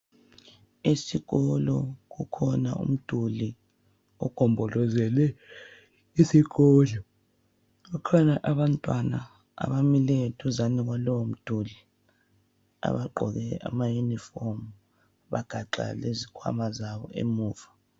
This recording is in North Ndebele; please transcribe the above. Esikolo kukhona umduli ogombolozele isikolo. Kukhona abantwana abamileyo duzane kwalowomduli abagqoke amayunifomu bagaxa lezikhwama zabo emuva.